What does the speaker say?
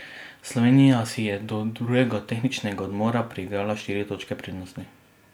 Slovenija si je do drugega tehničnega odmora priigrala štiri točke prednosti.